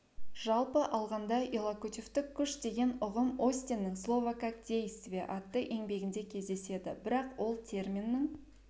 жалпы алғанда иллокутивтік күш деген ұғым остиннің слово как действие атты еңбегінде кездеседі бірақ ол терминнің